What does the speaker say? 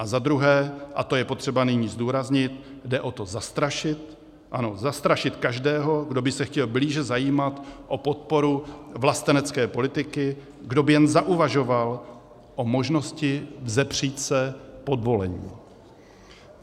A za druhé, a to je potřeba nyní zdůraznit, jde o to zastrašit, ano, zastrašit každého, kdo by se chtěl blíže zajímat o podporu vlastenecké politiky, kdo by jen zauvažoval o možnosti vzepřít se podvolení.